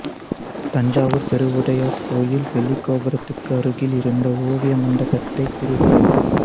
தஞ்சாவூர்ப் பெருவுடையார் கோயில் வெளிக்கோபுரத்துக்கு அருகில் இருந்த ஓவிய மண்டபத்தைக் கூறுகிறது